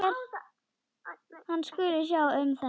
Hann skuli sjá um þetta.